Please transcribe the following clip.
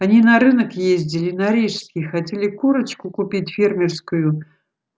они на рынок ездили на рижский хотели курочку купить фермерскую